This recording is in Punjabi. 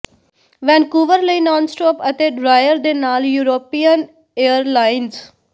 ਵੈਨਕੂਵਰ ਲਈ ਨਾਨ ਸਟੌਪ ਅਤੇ ਡਰਾਇਰ ਦੇ ਨਾਲ ਯੂਰੋਪੀਅਨ ਏਅਰਲਾਈਨਜ਼